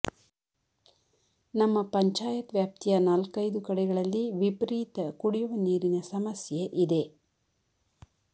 ನಮ್ಮ ಪಂಚಾಯತ್ ವ್ಯಾಪ್ತಿಯ ನಾಲ್ಕೈದು ಕಡೆಗಳಲ್ಲಿ ವಿಫರೀತ ಕುಡಿಯುವ ನೀರಿನ ಸಮಸ್ಯೆ ಇದೆ